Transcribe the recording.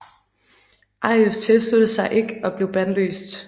Arius tilsluttede sig ikke og blev bandlyst